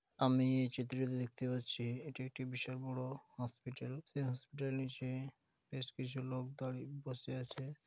আমি এই চিত্রটিতে দেখতে পাচ্ছি এটি একটি বিশাল বড় হসপিটাল । সে হসপিটাল নিচে বেশ কিছু লোক দাড়ি বসে আছে ।